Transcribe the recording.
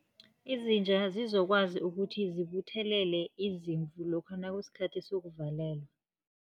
Izinja zizokwazi ukuthi zibuthelele izimvu, lokha nakusikhathi sokuvalela.